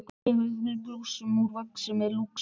Ég þvæ blússuna úr vaski með Lúx-spænum.